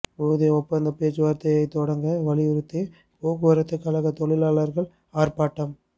ஊதிய ஒப்பந்தப் பேச்சுவாா்த்தையை தொடங்க வலியுறுத்தி போக்குவரத்துக் கழகத் தொழிலாளா்கள் ஆா்ப்பாட்டம்